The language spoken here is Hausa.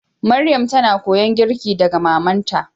Maryam ta na koyon girki daga mamanta.